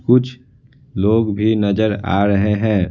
कुछ लोग भी नजर आ रहे हैं।